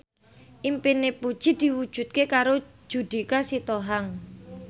impine Puji diwujudke karo Judika Sitohang